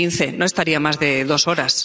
2015 no estaría más de dos horas.